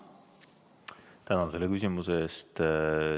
Tänan selle küsimuse eest!